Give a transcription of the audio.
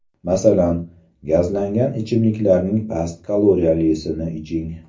Masalan, gazlangan ichimliklarning past kaloriyalisini iching.